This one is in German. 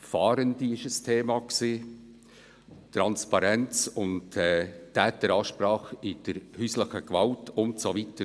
Fahrende waren ein Thema, Transparenz und Täteransprache bei häuslicher Gewalt und so weiter.